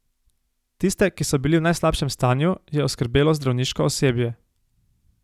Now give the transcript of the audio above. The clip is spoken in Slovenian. Tiste, ki so bili v najslabšem stanju, je oskrbelo zdravniško osebje.